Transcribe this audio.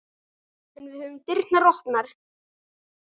En við höfum dyrnar opnar